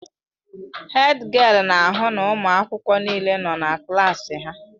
Hédgịél na-ahụ na ụmụ akwụkwọ niile nọ na klaasị ha.